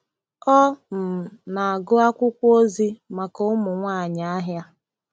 Ọ um na-agụ akwụkwọ ozi maka ụmụ nwanyị ahịa.